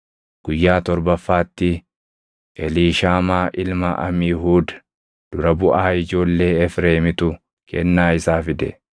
Guyyaa torbaffaatti Eliishaamaa ilma Amiihuud dura buʼaa ijoollee Efreemitu kennaa isaa fide.